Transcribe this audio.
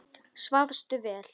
Svafstu vel?